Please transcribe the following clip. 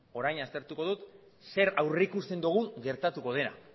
orain aztertuko dugu zer aurrikusten dugun gertatuko dena